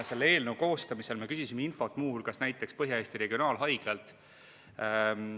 Selle eelnõu koostamisel me küsisime infot muu hulgas Põhja-Eesti Regionaalhaiglalt.